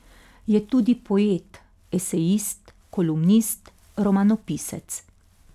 Je tudi poet, esejist, kolumnist, romanopisec.